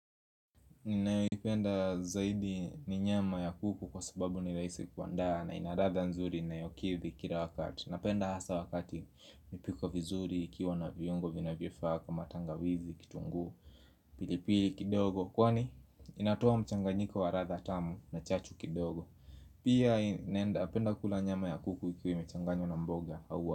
Ninayoipenda zaidi ni nyama ya kuku kwa sababu ni rahisi kuandaa na ina ladha nzuri inayokithi kila wakati Napenda hasa wakati imepikwa vizuri ikiwa na viungo vinavyofaa kama tangawizi kitunguu pilipili kidogo kwani inatoa mchanganyiko wa ladha tamu na chachu kidogo Pia inaenda apenda kula nyama ya kuku ikiwa imechanganywa na mboga au.